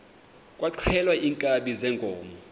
kwaxhelwa iinkabi zeenkomo